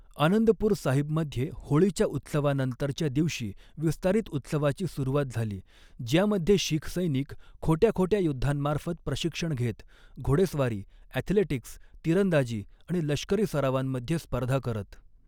आनंदपूर साहिबमध्ये होळीच्या उत्सवानंतरच्या दिवशी विस्तारित उत्सवाची सुरुवात झाली, ज्यामध्ये शीख सैनिक खोट्याखोट्या युद्धांमार्फत प्रशिक्षण घेत, घोडेस्वारी, ॲथलेटिक्स, तिरंदाजी आणि लष्करी सरावांमध्ये स्पर्धा करत.